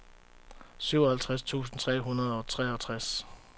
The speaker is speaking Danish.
syvoghalvtreds tusind tre hundrede og treogtres